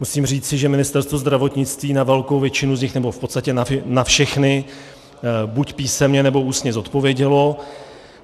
Musím říci, že Ministerstvo zdravotnictví na velkou většinu z nich, nebo v podstatě na všechny buď písemně, nebo ústně odpovědělo.